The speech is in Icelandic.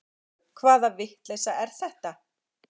Þúfu hvaða vitleysa er þetta!